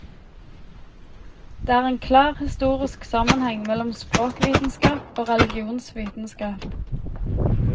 Det er en klar historisk sammenheng mellom språkvitenskap og religionsvitenskap.